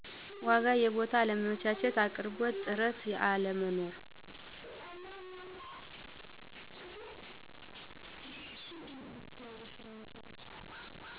ዎጋ የቡታ አለመመቸት ያቅርቦት ጥርት አለመኖር።